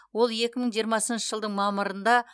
ол екі мың жиырмасыншы жылдың мамырында